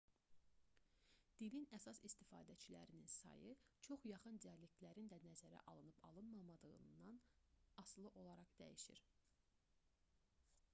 dilin əsas istifadəçilərinin sayı çox yaxın dialektlərin də nəzərə alınıb alınmadığından asılı olaraq fərqlənir